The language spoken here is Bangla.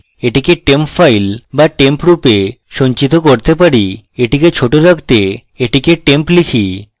এটিকে temp file so temp রূপে সঞ্চিত করতে পারি এটিকে short রাখতে এটিকে temp type